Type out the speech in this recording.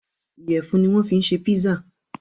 Ìyẹ̀fun ni wọ́n fi ṣe pizza.